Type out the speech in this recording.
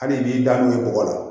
Hali b'i da n'o ye bɔgɔ la